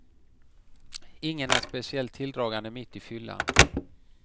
Ingen är speciellt tilldragande mitt i fyllan.